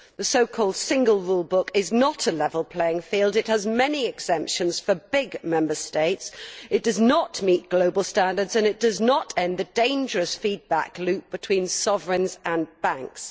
The so called single rule book' is not a level playing field it has many exemptions for big Member States, it does not meet global standards and it does not end the dangerous feedback loop between sovereigns and banks.